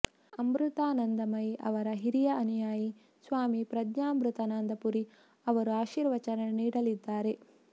ಅಮೃತಾನಂದಮಯಿ ಅವರ ಹಿರಿಯ ಅನುಯಾಯಿ ಸ್ವಾಮಿ ಪ್ರಜ್ಞಾಮೃತಾನಂದ ಪುರಿ ಅವರು ಅಶೀರ್ವಚನ ನೀಡಲಿದ್ದಾರೆ